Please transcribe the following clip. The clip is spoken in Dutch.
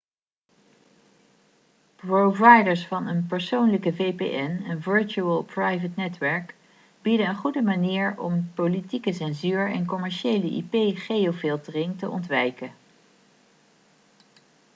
providers van een persoonlijke vpn virtual private netwerk bieden een goede manier om politieke censuur en commerciële ip-geofiltering te ontwijken